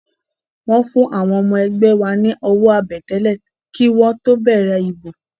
Wọ́n fún àwọn ọmọ ẹgbẹ́ wa ní owó àbẹ̀tẹ́lẹ̀ kí wọ́n tó bẹ̀rẹ̀ ìbò